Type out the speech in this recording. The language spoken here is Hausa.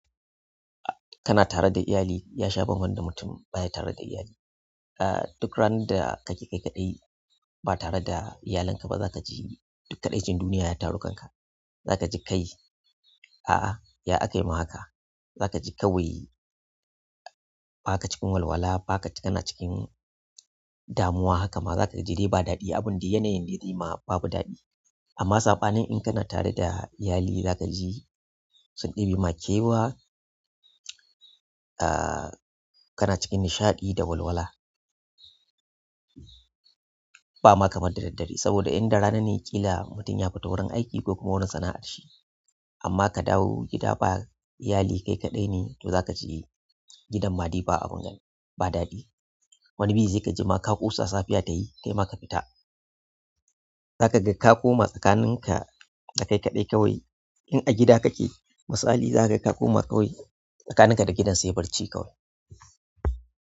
Kana tare da iyali ya sha bamban da mutum baya tare iyali duk randa kake kai kaɗai ba tare da iyalin ka ba, zaka ji duk kaɗaicin duniya ya taru kanka zaka ji kai, ah ah, ya aka yi ma haka. Za ka ji kawai ba ka cikin walwala, ba ka, kana cikin damuwa haka ma za ka ji dai ba daɗi. Abin dai yanayin zai ma babu daɗi. Amma saɓanin in kana tare da iyali za ka ji sun ɗebe ma kewa, kana cikin nishaɗi da walwala. Ba ma kamar da daddare, saboda in da rana ne ƙila mutum ya fita wurin aiki ko kuma wurin sana'ar shi. Amma ka dawo gida ba iyali kai kaɗai ne, to za ka ji gidan ma daina abun gani, ba daɗi. Wani bi sai ka ji ma ka ƙosa safiya ta yi, kai ma ka fita. Za ka ga ka koma tsakaninka da kai kaɗai kawai. In a gida kake, misali za ka ga ka koma kawai tsakaninka da gidan sai barci kawai.